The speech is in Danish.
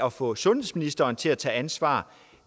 at få sundhedsministeren til at tage ansvar